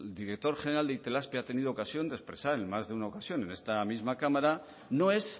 director general de itelazpi ha tenido ocasión de expresar en más una ocasión en esta misma cámara no es